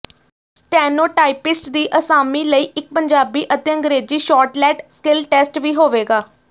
steno typist ਦੀ ਅਸਾਮੀ ਲਈ ਇੱਕ ਪੰਜਾਬੀ ਅਤੇ ਅੰਗਰੇਜ਼ੀ ਸ਼ੌਰਟਲੈਡ ਸਕਿਲਟੈਸਟ ਵੀ ਹੋਵੇਗਾ